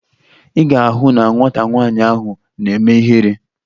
Ị ga-ahụ na nwata nwaanyị ahụ na-eme ihere